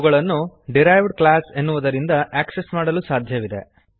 ಅವುಗಳನ್ನು derived class ಎನ್ನುವದರಿಂದ access ಮಾಡಲು ಸಾಧ್ಯವಿದೆ